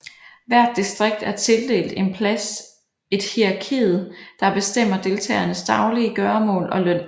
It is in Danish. Hvert distrikt er tildelt en plads et hierarkiet der bestemmer deltagernes daglige gøremål og løn